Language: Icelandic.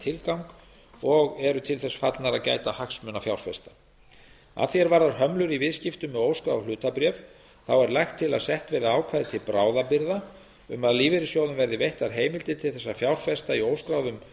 tilgang og séu til þess fallnar að gæta hagsmuna fjárfesta að því er varðar hömlur í viðskiptum með óskráð hlutabréf er lagt til að sett verði ákvæði til bráðabirgða um að lífeyrissjóðum verði veittar heimildir til þess að fjárfesta í óskráðum